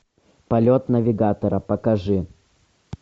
полет навигатора покажи